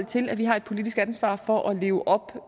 til at vi har et politisk ansvar for at leve op